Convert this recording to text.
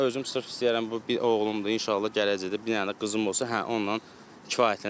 Yəni mən özüm sırf istəyərəm bu bir oğlumdur, inşallah gələcəkdə bir dənə də qızım olsa, hə onunla kifayətlənərəm.